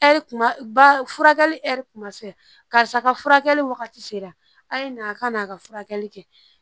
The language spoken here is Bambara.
Ɛri kuma ba furakɛli ɛri tun ma se karisa ka furakɛli wagati sera a ye na ka n'a ka furakɛli kɛ